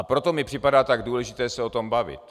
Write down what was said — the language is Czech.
A proto mi připadá tak důležité se o tom bavit.